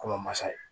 Ko masa ye